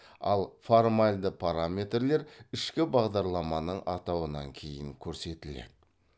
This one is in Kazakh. ал формальды параметрлер ішкі бағдарламаның атауынан кейін көрсетіледі